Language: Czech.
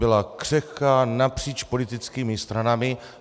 Byla křehká napříč politickými stranami.